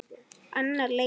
Annar leikur